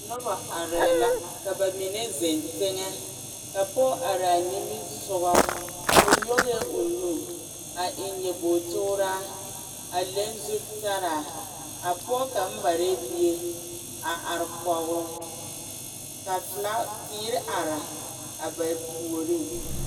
Noba arɛɛ la ka bamine zeŋ teŋɛ ka poge are a nimi sɔgɔ o nyoŋɛɛ o nu a eŋ nyɔboge tuuraa a leŋ zu talaa a poge kaŋ mare bie a arɛɛ kɔŋ o ka felaa teere are a ba puoriŋ.